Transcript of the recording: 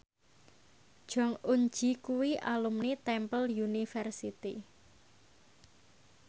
Jong Eun Ji kuwi alumni Temple University